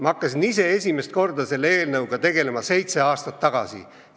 Ma hakkasin ise esimest korda selle teemaga tegelema seitse aastat tagasi.